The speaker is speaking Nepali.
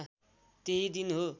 त्यही दिन हो